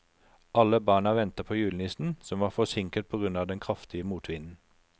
Alle barna ventet på julenissen, som var forsinket på grunn av den kraftige motvinden.